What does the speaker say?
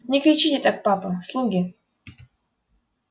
не кричите так папа слуги